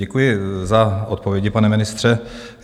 Děkuji za odpovědi, pane ministře.